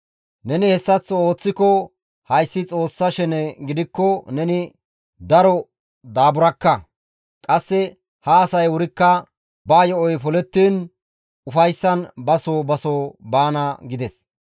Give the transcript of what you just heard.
Neni hessaththo ooththiko hayssi Xoossa shene gidikko neni daro daaburakka. Qasse ha asay wurikka ba yo7oy polettiin ufayssan ba soo ba soo baana» gides.